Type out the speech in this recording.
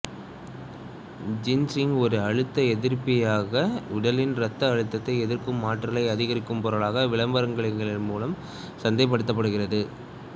ginseng ஒரு அழுத்த எதிர்ப்பியாக உடலின் இரத்த அழுத்தத்தை எதிர்க்கும் ஆற்றலை அதிகரிக்கும் பொருளாக விளம்பரங்களின் மூலம் சந்தைப்படுகிறது